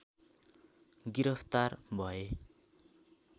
गिरफ्तार भए